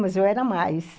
Mas eu era mais.